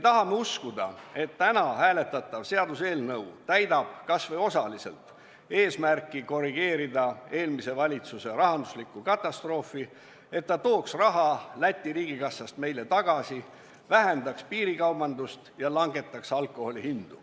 Me loodame, et täna hääletatav seaduseelnõu täidab kas või osaliselt eesmärki korrigeerida eelmise valitsuse tekitatud rahandusliku katastroofi tagajärgi, et raha laekub Läti riigikassa asemel jälle meie omasse, et väheneb piirikaubandus ja langevad alkoholi hinnad.